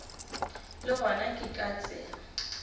le gona ke ka tsela